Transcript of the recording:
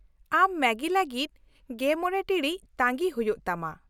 ᱟᱢ ᱢᱮᱜᱤ ᱞᱟᱹᱜᱤᱫ ᱑᱕ ᱴᱤᱬᱤᱡ ᱛᱟᱺᱜᱤ ᱦᱩᱭᱩᱜᱼᱟ ᱛᱟᱢᱟ ᱾